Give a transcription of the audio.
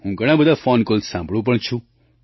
હું ઘણા બધા ફૉન કૉલ સાંભળૂં પણ છું